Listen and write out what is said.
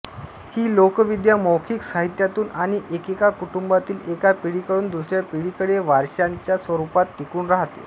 ही लोकविद्या मौखिक साहित्यातून आणि एकेका कुटुंबातील एका पिढीकडून दुसऱ्या पिढीकडे वारशाच्या स्वरूपात टिकून राहते